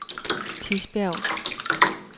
Tisbjerg